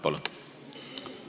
Palun!